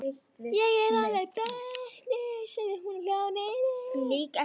Ég er alveg bötnuð, sagði hún og hljóp niður.